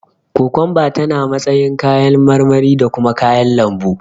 Kokomba tana matsayin kayan marmari da kuma kayan lambu.